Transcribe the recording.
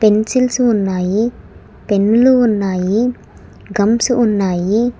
Pencils ఉన్నాయి పెన్నులు ఉన్నాయి గంస్ ఉన్నాయి.